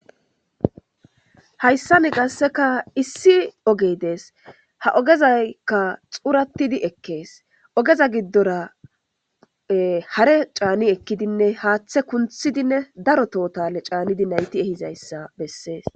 hayssa ni gasseka issi ogey dees ha ogezaykka xurattidi ekkees ogeza giddora hare caani ekkidinne haaththe kunthidinne daro tohotale caanidi nayti ehizayssa bessees